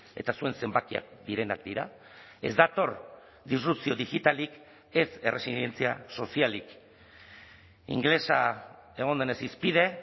eta zuen zenbakiak direnak dira ez dator disrupzio digitalik ez erresilientzia sozialik ingelesa egon denez hizpide